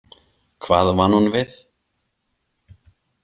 Hvað vann hún við?